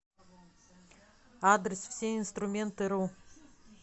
адрес всеинструментыру